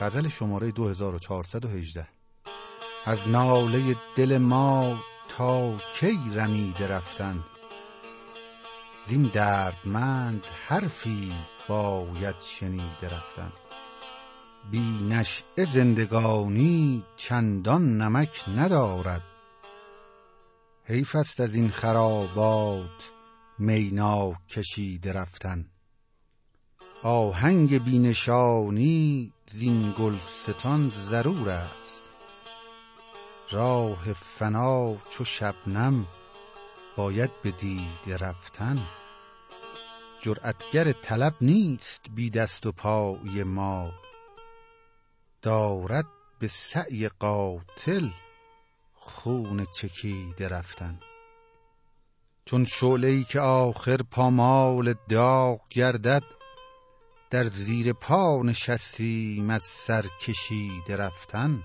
از ناله دل ما تا کی رمیده رفتن زین دردمند حرفی باید شنیده رفتن بی نشیه زندگانی چندان نمک ندارد حیف ست از این خرابات می ناکشیده رفتن آهنگ بی نشانی زین گلستان ضرور است راه فنا چو شبنم باید به دیده رفتن جرأتگر طلب نیست بی دست و پایی ما دارد به سعی قاتل خون چکیده رفتن چون شعله ای که آخر پامال داغ گردد در زیر پا نشستیم از سر کشیده رفتن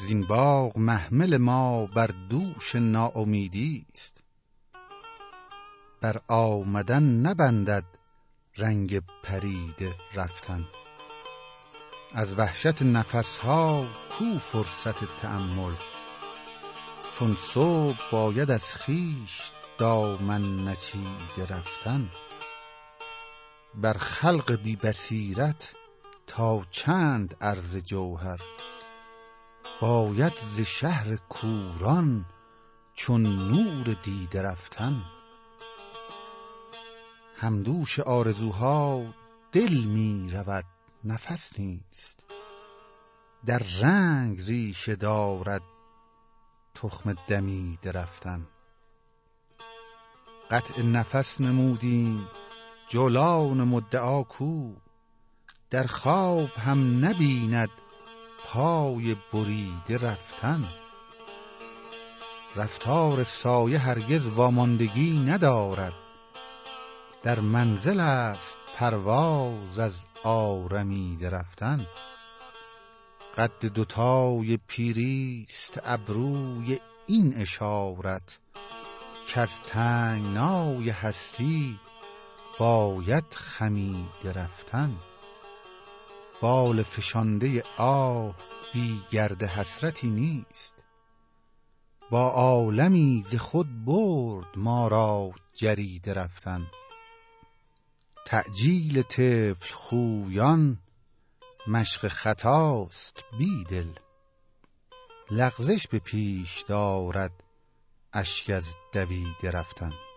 زین باغ محمل ما بر دوش ناامیدیست بر آمدن نبندد رنگ پریده رفتن از وحشت نفسها کو فرصت تأمل چون صبح باید از خویش دامن نچیده رفتن بر خلق بی بصیرت تا چند عرض جوهر باید ز شهر کوران چون نور دیده رفتن همدوش آرزوها دل می رود نفس نیست در رنگ ریشه دارد تخم دمیده رفتن قطع نفس نمودیم جولان مدعا کو در خواب هم نبیند پای بریده رفتن رفتار سایه هرگز واماندگی ندارد در منزل است پرواز از آرمیده رفتن قد دو تای پیریست ابروی این اشارت کز تنگنای هستی باید خمیده رفتن بال فشانده آه بی گرد حسرتی نیست با عالمی ز خود برد ما را جریده رفتن تعجیل طفل خویان مشق خطاست بیدل لغزش به پیش دارد اشک از دویده رفتن